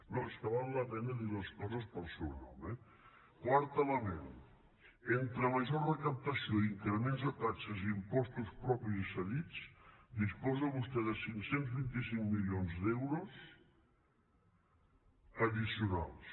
no és que val la pena dir les coses pel seu nom eh quart element entre major recaptació i increments de taxes i impostos propis i cedits disposa vostè de cinc cents i vint cinc milions d’euros addicionals